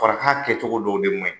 ka kɛcogo dɔw de man ɲi.